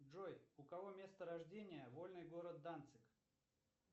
джой у кого место рождения вольный город данциг